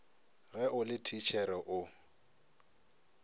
ge o le thitšhere o